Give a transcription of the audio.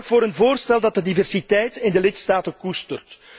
Zorg voor een voorstel dat de diversiteit in de lidstaten koestert.